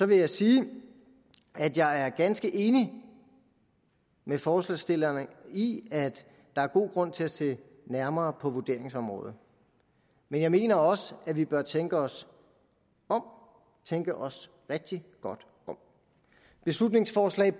vil jeg sige at jeg er ganske enig med forslagsstillerne i at der er god grund til at se nærmere på vurderingsområdet men jeg mener også at vi bør tænke os om og tænke os rigtig godt om beslutningsforslag